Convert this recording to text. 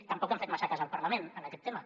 tampoc han fet massa cas al parlament en aquest tema